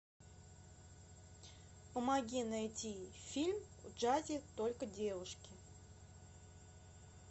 помоги найти фильм в джазе только девушки